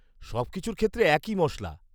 -সবকিছুর ক্ষেত্রে একই মশলা।